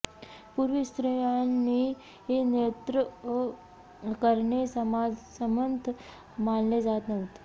पूर्वी स्त्र्ायांनी नृत्य करणे समाजसंमत मानले जात नव्हते